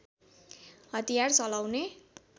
हतियार चलाउने